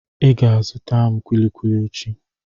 Ị ga-azụta m kulikuli echi.